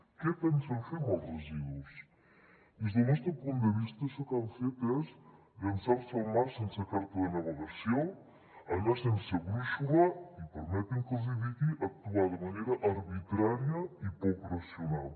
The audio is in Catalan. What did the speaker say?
què pensen fer amb els residus des del nostre punt de vista això que han fet és llançar se al mar sense carta de navegació anar sense brúixola i permetin me que els hi digui actuar de manera arbitrària i poc racional